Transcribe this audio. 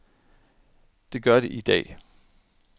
Det gør de i dag.